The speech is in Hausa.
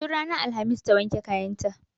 Tun ranar alhamis ta wanke kayan ta